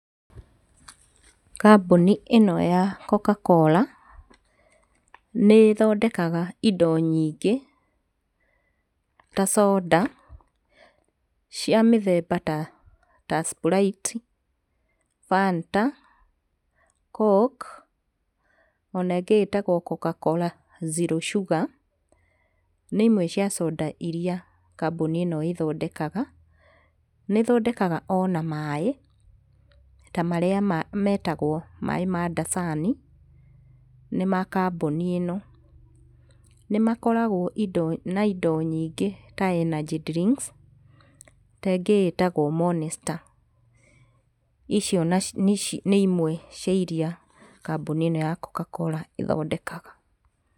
Kambũni ĩno ya coca-cola nĩĩthondekaga ĩndo nyingĩ ta coda cĩa mĩthemba ta ta sprite, fanta, coke ona ĩngĩ ĩtagwo coca-cola zero sugar, nĩ imwe cia soda iria kambũni ĩno ĩthondekaga. Nĩĩthondeka ona maĩĩ ta marĩa ma metagwo maĩĩ ma dasani, nĩ ma kambũnĩ ĩno. Nĩmakoragwo indo na indo nyingĩ ta energy drinks ta ĩngĩ ĩtagwo monster. Icio nĩ ĩmwe cia iria kambũni ĩno ya coca-cola ĩthondekaga.